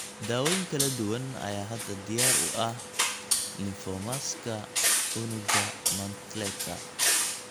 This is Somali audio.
Daawooyin kala duwan ayaa hadda diyaar u ah lymphomaska unugga Mantleka.